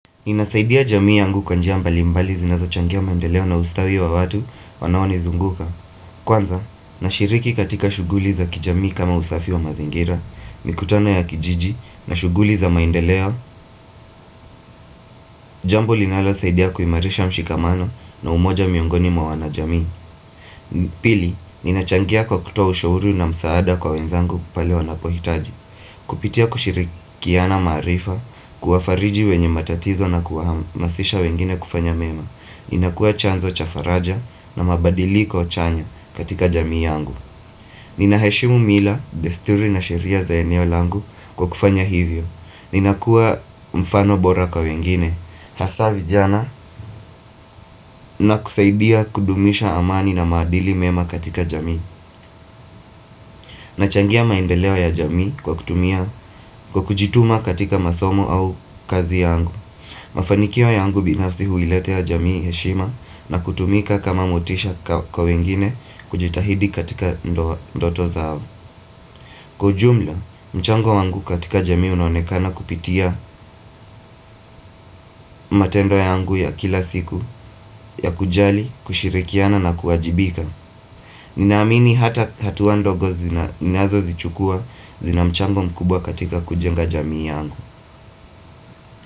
Inasaidia jamii yangu kwanjia mbali mbali zinazo changia maendeleo na ustawi wa watu wanawani zunguka. Kwanza, na shiriki katika shuguli za kijamii kama usafi wa mazingira, mikutano ya kijiji, na shuguli za maendeleo, jambo linala saidiya kuimarisha mshikamano na umoja miongoni mawana jamii. Pili, ninachangia kwa kutoa ushouru na msaada kwa wenzangu kupale wa napohitaji. Kupitia kushirikiana maarifa kuafariji wenye matatizo na kuahamasisha wengine kufanya mema Ninakua chanzo chafaraja na mabadili kwa chanya katika jamii yangu Ninaheshimu mila desturi na shiria za eneo langu kwa kufanya hivyo Ninakua mfano bora kwa wengine Hasavi jana na kusaidia kudumisha amani na madili mema katika jamii nachangia maindelewa ya jamii kwa kutumia kwa kujituma katika masomo au kazi yangu Mafanikiwa yangu binafsi huilete ya jamii heshima na kutumika kama mutisha kwa wengine kujitahidi katika ndoto zao Kwaujumla, mchango wangu katika jamii unaonekana kupitia matendo ya yangu ya kila siku ya kujali, kushirikiana na kuajibika Ninaamini hatuwa ndogo zinazo zichukua zinamchango mkubwa katika kujenga jamii yangu.